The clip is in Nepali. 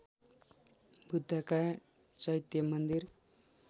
बुद्धका चैत्य मन्दिर